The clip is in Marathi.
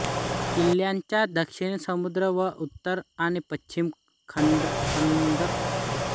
किल्ल्याच्या दक्षिणेस समुद्र व उत्तर आणि पश्चिमेस खंदक आहे